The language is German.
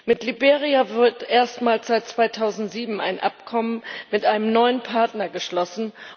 Mit Liberia wird erstmals seit 2007 ein Abkommen mit einem neuen Partner geschlossen.